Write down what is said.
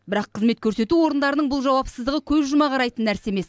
бірақ қызмет көрсету орындарының бұл жауапсыздығы көз жұма қарайтын нәрсе емес